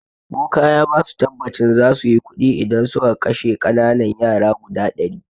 Boka ya basu tabbacin zasuyi kuɗi idan suka kashe ƙananan yara guda ɗari